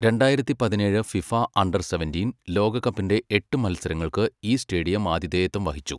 രണ്ടായിരത്തി പതിനേഴ് FIFA under seventeen ലോകകപ്പിന്റെ എട്ട് മത്സരങ്ങൾക്ക് ഈ സ്റ്റേഡിയം ആതിഥേയത്വം വഹിച്ചു.